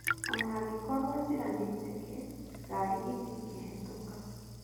Onangĩkorwo njĩra nĩ njeke ngari ĩtangĩhetũka.